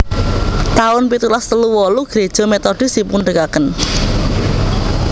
taun pitulas telu wolu Greja Methodis dipunadegaken